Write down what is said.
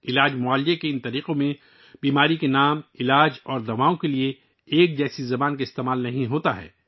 ان طبی طریقوں میں، بیماریوں، علاج اور ادویات کی اصطلاحات کے لیے ایک عام زبان استعمال نہیں کی جاتی ہے